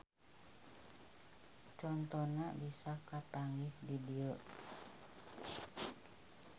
Contona bisa kapanggih di dieu